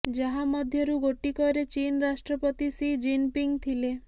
ଯାହା ମଧ୍ୟରୁ ଗୋଟିକରେ ଚୀନ୍ ରାଷ୍ଟ୍ରପତି ସି ଜିନ୍ ପିଙ୍ଗ୍ ଥିଲେ